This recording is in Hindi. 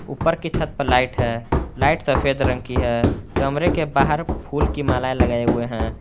ऊपर की छत पर लाइट है लाइट सफेद रंग की है कमरे के बाहर फुल की मालाएं लगाए हुए हैं।